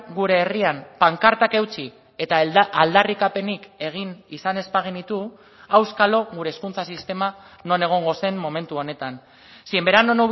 gure herrian pankartak eutsi eta aldarrikapenik egin izan ez bagenitu auskalo gure hezkuntza sistema non egongo zen momentu honetan si en verano